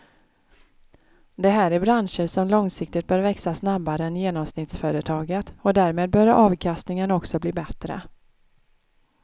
Det här är branscher som långsiktigt bör växa snabbare än genomsnittsföretaget och därmed bör avkastningen också bli bättre.